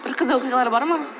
бір қызық оқиғалар бар ма